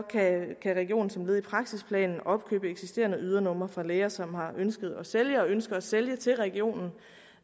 kan regionen som led i praksisplanen opkøbe eksisterende ydernumre fra læger som har ønsket at sælge og ønsker at sælge til regionen